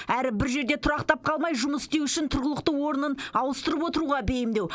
әрі бір жерде тұрақтап қалмай жұмыс істеу үшін тұрғылықты орнын ауыстырып отыруға бейімдеу